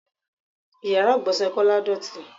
Ìyára ìgbọ̀nsẹ̀ Kọ́lá dọọti.